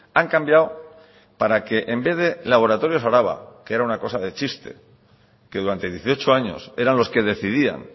han cambiado para que en vez de laboratorios araba que era una cosa de chiste que durante dieciocho años eran los que decidían